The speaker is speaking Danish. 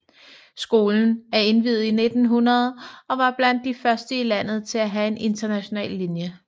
Skolen er indviet i 1900 og var blandt de første i landet til at have en international linje